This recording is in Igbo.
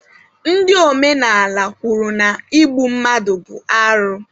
Ndị omenala kwuru na igbu mmadụ bụ arụ